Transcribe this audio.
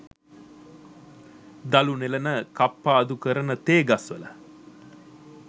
දළු නෙලන කප්පාදු කරන තේ ගස්වල